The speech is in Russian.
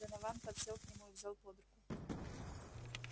донован подсел к нему и взял под руку